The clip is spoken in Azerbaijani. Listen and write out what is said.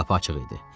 Qapı açıq idi.